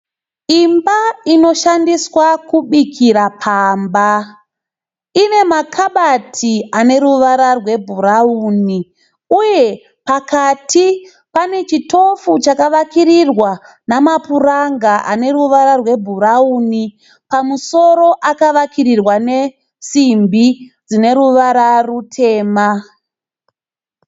Imba inoshandiswa kubikira pamba. Inemakabati aneruvara rwebhurauni uye pakati panechitofu chakavakirirwa nemapuranga aneruvara rwebhurauni, pamusoro akavakirirwa nesimbi dzineruvara rutema.